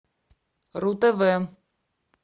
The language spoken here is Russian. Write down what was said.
ру тв